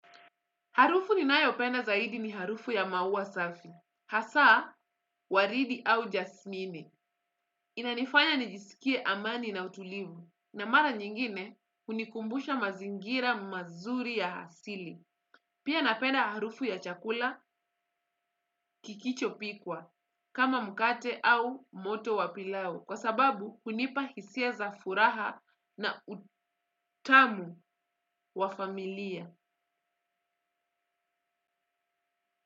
Harufu ninayopenda zaidi ni harufu ya maua safi. Hasaa, waridi au jasmini. Inanifanya nijisikie amani na utulivu. Na mara nyingine, unikumbusha mazingira mazuri ya hasili. Pia napenda harufu ya chakula kikichopikwa, kama mkate au moto wa pilau. Kwa sababu, unipa hisia za furaha na utamu wa familia.